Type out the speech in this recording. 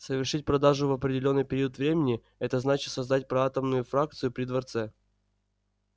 совершить продажу в определённый период времени это значит создать проатомную фракцию при дворце